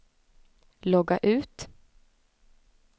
logga ut